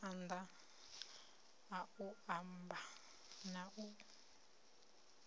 maanḓa a u amba na